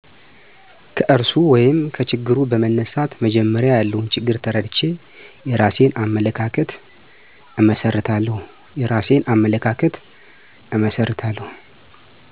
ከርዕሱ ወይም ከችግሩ በመነሳት መጀመሪያ ያለውን ችግር ተረድቼ የራሴን አመለካከት እመሰርታለሁ